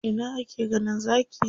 A ina ake ganin Zaki?